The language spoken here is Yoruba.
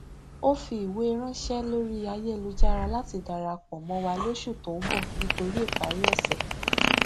ó fi ìwé ránṣẹ lórí ayélujára láti darapọ mọ wa lóṣù tó ń bọ nítorí ìparí ọsẹ